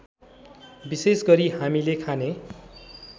विशेषगरी हामीले खाने